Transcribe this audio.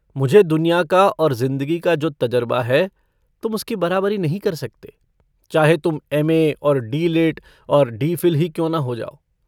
मुझे दुनिया का और ज़िन्दगी का जो तज़रबा है तुम उसकी बराबरी नहीं कर सकते, चाहे तुम एम ए और डी लिट् और डी फिल ही क्यों न हो जाओ।